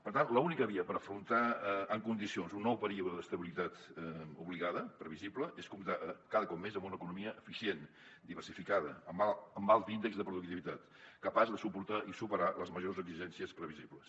per tant l’única via per afrontar en condicions un nou període d’estabilitat obligada previsible és comptar cada cop més amb una economia eficient diversificada amb alts índexs de productivitat capaç de suportar i superar les majors exigències previsibles